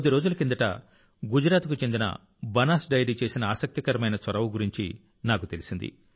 కొద్ది రోజుల కిందట గుజరాత్కు చెందిన బనాస్ డెయిరీ చేసిన ఆసక్తికరమైన చొరవ గురించి నాకు తెలిసింది